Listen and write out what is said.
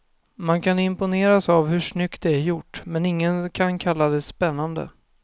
Man kan imponeras av hur snyggt det är gjort, men ingen kan kalla det spännande.